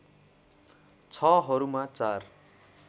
६ हरूमा ४